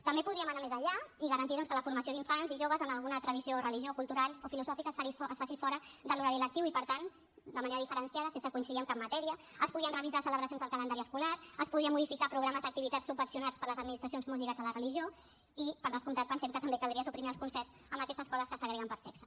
també podríem anar més enllà i garantir doncs que la formació d’infants i joves en alguna tradició o religió cultural o filosòfica es faci fora de l’horari lectiu i per tant de manera diferenciada sense coincidir amb cap matèria es podrien revisar celebracions del calendari escolar es podrien modificar programes d’activitats subvencionats per les administracions molt lligats a la religió i per descomptat pensem que també caldria suprimir els concerts amb aquestes escoles que segreguen per sexe